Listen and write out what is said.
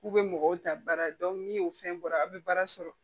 K'u bɛ mɔgɔw ta baara ni o fɛn bɔra aw bɛ baara sɔrɔ